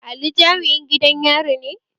Ali jami'in gidan yari ne?